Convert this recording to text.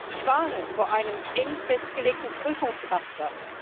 Ich warne vor einem eng festgelegten Prüfungsraster.